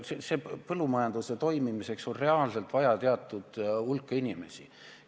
Põllumajanduse toimimiseks on reaalselt vaja teatud hulka inimesi.